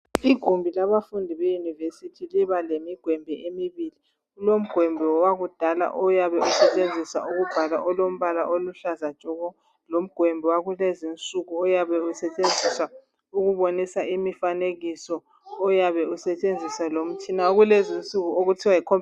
Igumbi labafundi beyunivesithi liba lemi gwembi emibili kulogwembi wakudala oyabe usebenzisa ukubhala olombala oluhlaza tshoko logwembi wakulezi insuku oyabe usebenziswa ukubonisa imfanekiso oyabe usentshenziswa lomtshina wakulezi insuku okuthiwa Yi computer